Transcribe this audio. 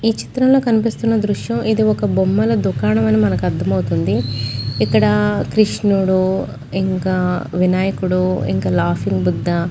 ఈ చిత్రంలో కనిపిస్తున్న దృశ్యం ఇది ఒక బొమ్మల దుకాణం అని మనకు అర్థమవుతుంది. ఇక్కడ కృష్ణుడు ఇంకా వినాయకుడు ఇంకా లాఫింగ్ బుద్ధ --